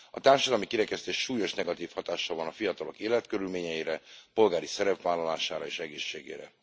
A társadalmi kirekesztés súlyos negatív hatással van a fiatalok életkörülményeire, polgári szerepvállalására és egészségére.